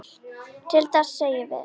Til þess segjum við.